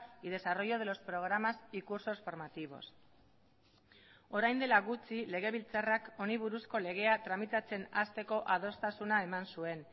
y desarrollo de los programas y cursos formativos orain dela gutxi legebiltzarrak honi buruzko legea tramitatzen hasteko adostasuna eman zuen